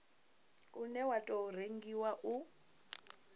une wa tou rengiwa u